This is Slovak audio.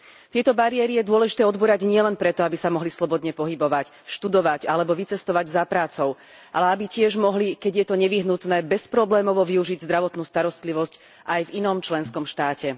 Tieto bariéry je dôležité odbúrať nielen preto, aby sa mohli slobodne pohybovať, študovať alebo vycestovať za prácou, ale aby tiež mohli, keď je to nevyhnutné, bezproblémovo využiť zdravotnú starostlivosť aj v inom členskom štáte.